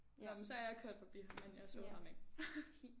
Nåh men så er jeg kørt forbi ham men jeg så ham ikke